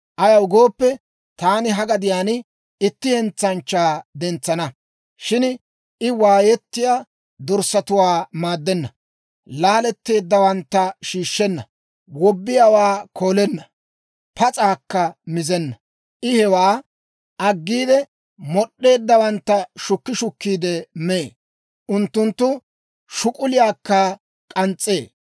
Ayaw gooppe, taani ha gadiyaan itti hentsanchchaa dentsana. Shin I waayettiyaa dorssatuwaa maaddenna; laaletteeddawantta shiishshenna; wobbiyaawaa koolenna; pas'aakka mizenna. I hewaa aggiide, mod'd'eeddawantta shukki shukkiide mee; unttunttu shuk'uliyaakka k'ans's'ee.